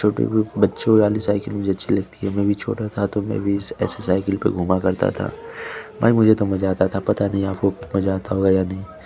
छोटे ग्रुप बच्चो वाली साइकिल मुझे अच्छी लगती है मै भी छोटा था तो में भी इस ऐसे साइकिल में घुमा करता था भाई मुझे तो बहत मजा अता था पता नहीं आपको मजा अता होगा या नहीं।